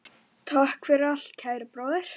Takk fyrir allt, kæri bróðir.